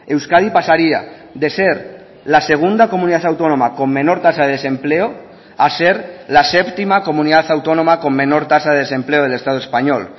euskadi pasaría de ser la segunda comunidad autónoma con menor tasa de desempleo a ser la séptima comunidad autónoma con menor tasa de desempleo del estado español